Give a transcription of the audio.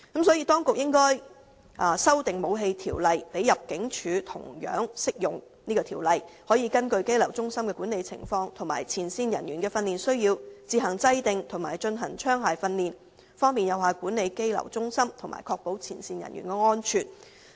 因此，當局應修訂《武器條例》，使這項條例同樣適用於入境處，讓入境處可根據羈留中心的管理情況及前線人員的訓練需要，自行制訂和進行槍械訓練，從而有效管理羈留中心，確保前線人員的安全。